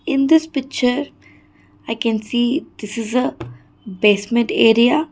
In this picture I can see this is a basement area.